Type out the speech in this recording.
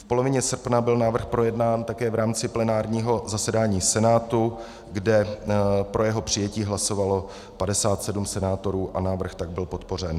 V polovině srpna byl návrh projednán také v rámci plenárního zasedání Senátu, kde pro jeho přijetí hlasovalo 57 senátorů a návrh tak byl podpořen.